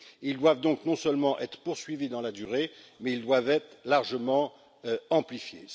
Ils doivent donc non seulement être poursuivis dans la durée, mais ils doivent aussi être largement amplifiés.